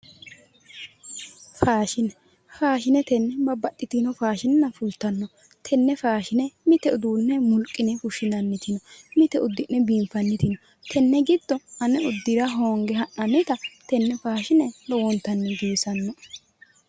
Faashine faashinetenni babbaxitinno faashina fultanno tenne faashina mite uduunne mulqine fushshinanniti no mite uddi'ne fushshinanniti no tenne giddo ane uddira hoonge ha'nannita tenne giddo ane uddira hoonge ha'nannita lowontanni giwisannoe.